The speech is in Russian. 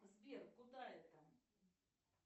сбер куда это